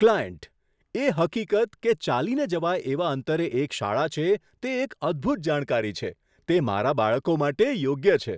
Client "એ હકીકત કે ચાલીને જવાય એવા અંતરે એક શાળા છે, તે એક અદ્ભૂત જાણકારી છે. તે મારાં બાળકો માટે યોગ્ય છે."